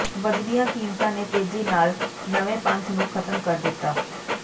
ਵੱਧਦੀਆਂ ਕੀਮਤਾਂ ਨੇ ਤੇਜ਼ੀ ਨਾਲ ਨਵੇਂ ਪੰਥ ਨੂੰ ਖਤਮ ਕਰ ਦਿੱਤਾ